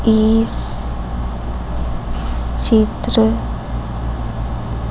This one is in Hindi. इस चित्र--